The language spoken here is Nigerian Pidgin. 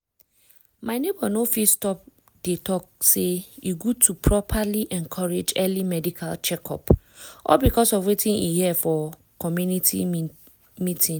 my neighbor no fit stop dey talk say e good to properly encourage early medical check-up all because of wetin e hear for for community meeting.